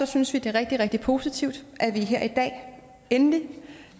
synes vi det er rigtig rigtig positivt at vi her i dag endelig